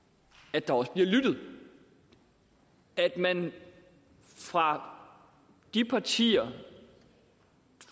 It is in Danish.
at der også bliver lyttet at man fra de partier